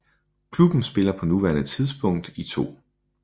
Klubben spiller på nuværende tidspunkt i 2